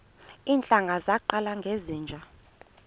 iintlanga zaqala ngezinje